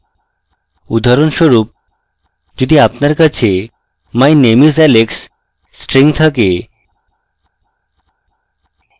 উদাহরণস্বরূপ যদি আপনার কাছে my name is alex string থাকে